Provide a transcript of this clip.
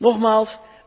Nogmaals,